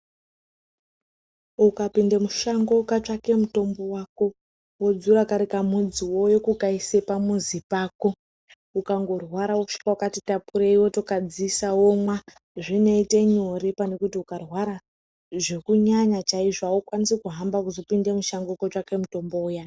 Ukapinde mushango ukatsvake mutombo wako wodzura kari kamudzi wouya kukaise pamuzi pako, ukangorwara wosvika wokati tapurei wotokadziisa womwa zvinoite nyore pane kuti ukarwara zvekunyanya chaizvo haukwanisi kuhamba kuzopinde mushango kutsvake mutombo uyani.